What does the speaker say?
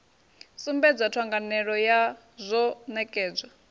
sumbedzwa thanganyelo ya rzwo nekedzwa